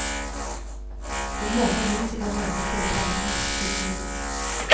Hun håper huset kan brukes til å fremme norsk kultur.